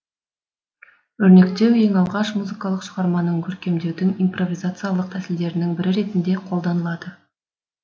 өрнектеу ең алғаш музыкалық шығарманы көркемдеудің импровизациялық тәсілдерінің бірі ретінде қолданылды